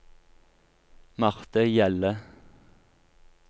Marthe Hjelle